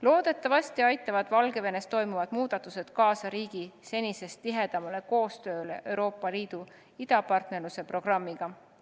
Loodetavasti aitavad Valgevenes toimuvad muutused kaasa riigi senisest tihedamale koostööle Euroopa Liidu idapartnerluse programmi raames.